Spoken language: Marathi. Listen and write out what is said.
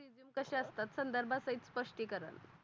तसे असतात संधरबा सहित स्पष्टी कारण